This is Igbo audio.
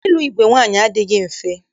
Ịlụ igwe nwaanyị adịghị mfe.